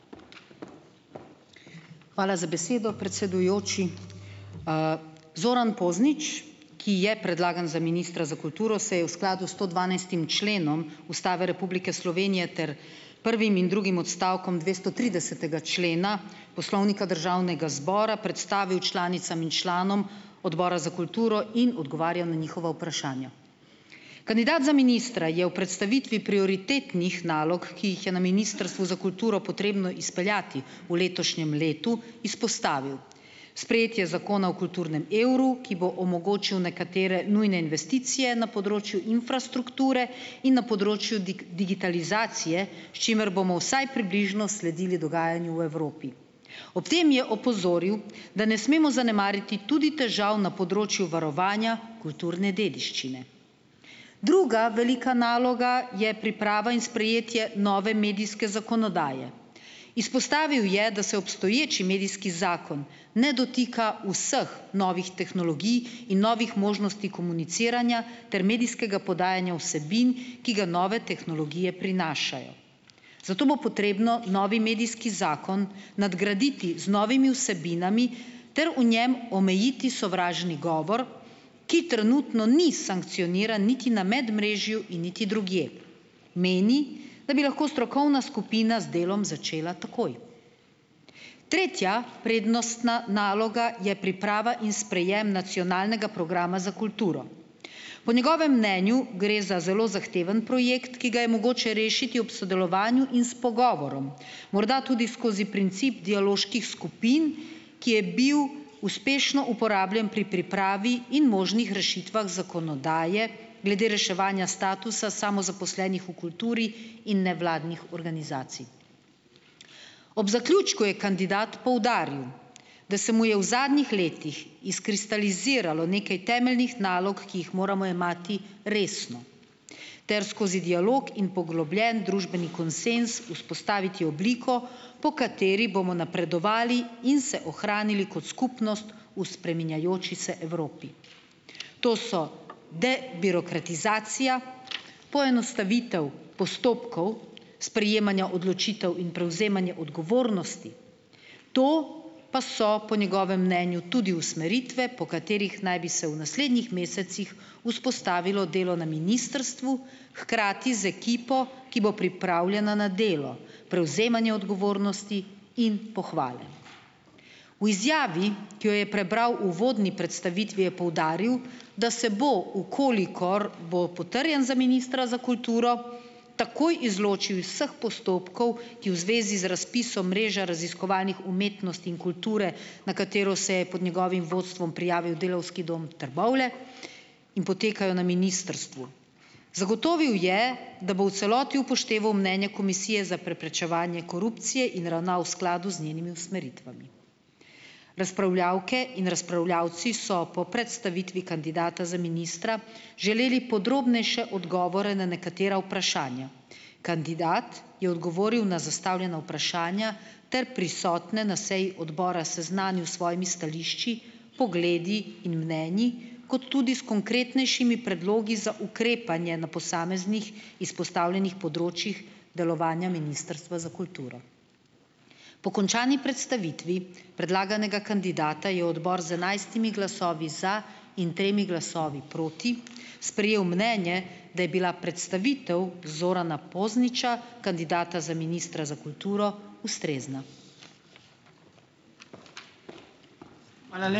Hvala za besedo, predsedujoči. Zoran Poznič, ki je predlagan za ministra za kulturo, se je v skladu s stodvanajstim členom Ustave Republike Slovenije ter prvim in drugim odstavkom dvestotridesetega člena Poslovnika Državnega zbora predstavil članicam in članom Odbora za kulturo in odgovarjal na njihova vprašanja. Kandidat za ministra je v predstavitvi prioritetnih nalog, ki jih je na Ministrstvu za kulturo potrebno izpeljati v letošnjem letu, izpostavil: sprejetje Zakona o kulturnem evru, ki bo omogočil nekatere nujne investicije na področju infrastrukture in na področju digitalizacije, s čimer bomo vsaj približno sledili dogajanju v Evropi. Ob tem je opozoril, da ne smemo zanemariti tudi težav na področju varovanja kulturne dediščine. Druga velika naloga je priprava in sprejetje nove medijske zakonodaje. Izpostavil je, da se obstoječi medijski zakon ne dotika vseh novih tehnologij in novih možnosti komuniciranja ter medijskega podajanja vsebin, ki ga nove tehnologije prinašajo. Zato bo potrebno novi medijski zakon nadgraditi z novimi vsebinami ter v njem omejiti sovražni govor, ki trenutno ni sankcioniran niti na medmrežju in niti drugje. Meni, da bi lahko strokovna skupina z delom začela takoj. Tretja prednostna naloga je priprava in sprejem Nacionalnega programa za kulturo. Po njegovem mnenju gre za zelo zahteven projekt, ki ga je mogoče rešiti ob sodelovanju in s pogovorom, morda tudi skozi princip dialoških skupin, ki je bil uspešno uporabljen pri pripravi in možnih rešitvah zakonodaje glede reševanja statusa samozaposlenih v kulturi in nevladnih organizacij. Ob zaključku je kandidat poudaril, da se mu je v zadnjih letih izkristaliziralo nekaj temeljnih nalog, ki jih moramo jemati resno ter skozi dialog in poglobljen družbeni konsenz vzpostaviti obliko, po kateri bomo napredovali in se ohranili kot skupnost v spreminjajoči se Evropi. To so birokratizacija, poenostavitev postopkov sprejemanja odločitev in prevzemanje odgovornosti. To pa so po njegovem mnenju tudi usmeritve, po katerih naj bi se v naslednjih mesecih vzpostavilo delo na ministrstvu, hkrati z ekipo, ki bo pripravljena na delo, prevzemanje odgovornosti in pohvale. V izjavi, ki jo je prebral uvodni predstavitvi, je poudaril, da se bo, v kolikor bo potrjen za ministra za kulturo, takoj izločil iz vseh postopkov, ki v zvezi z razpisom mreže raziskovalnih umetnost in kulture, na katero se je pod njegovim vodstvom prijavil Delavski dom Trbovlje in potekajo na ministrstvu. Zagotovil je, da bo v celoti upošteval mnenje Komisije za preprečevanje korupcije in ravnal v skladu z njenimi usmeritvami. Razpravljavke in razpravljavci so po predstavitvi kandidata za ministra želeli podrobnejše odgovore na nekatera vprašanja. Kandidat je odgovoril na zastavljena vprašanja ter prisotne na seji odbora seznanil svojimi stališči, pogledi in mnenji, kot tudi s konkretnejšimi predlogi za ukrepanje na posameznih izpostavljenih področjih delovanja Ministrstva za kulturo. Po končani predstavitvi predlaganega kandidata je odbor z enajstimi glasovi za in tremi glasovi proti sprejel mnenje, da je bila predstavitev Zorana Pozniča, kandidata za ministra za kulturo, ustrezna.